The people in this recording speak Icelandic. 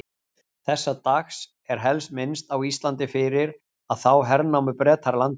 Þessa dags er helst minnst á Íslandi fyrir að þá hernámu Bretar landið.